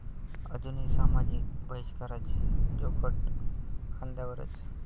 अजूनही सामाजिक बहिष्काराचे जोखड खांद्यावरच!